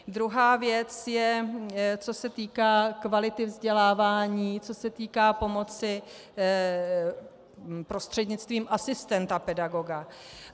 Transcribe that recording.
Druhá věc je, co se týká kvality vzdělávání, co se týká pomoci prostřednictvím asistenta pedagoga.